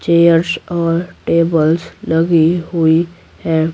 Chairs और tables लगी हुई है।